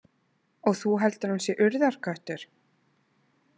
Og þú heldur að hann sé Urðarköttur?